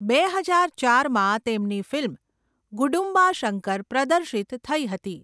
બે હજાર ચારમાં તેમની ફિલ્મ 'ગુડુમ્બા શંકર' પ્રદર્શિત થઈ હતી.